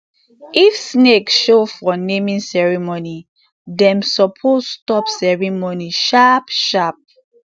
if snake show for naming ceremony dem suppose stop ceremony sharp sharp